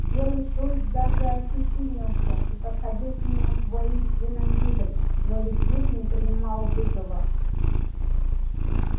белый клык даже ощетинился и подходил к нему с воинственным видом но лип лип не принимал вызова